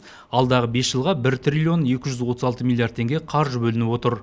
алдағы бес жылға бір триллион екі жүз отыз алты миллиард теңге қаржы бөлініп отыр